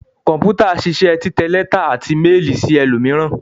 Kọ̀m̀pútà ṣiṣẹ́ títẹ lẹ́tà àti méélì sí ẹlòmíràn.